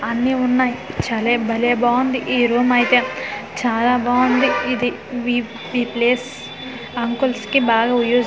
అన్ని ఉన్నాయి చలే భలే బాగుంది ఈ రూమ్ అయితే చాలా బావుంది ఇది వి ఈ ప్లేస్ అంకుల్స్ కి బాగా వియూజ్--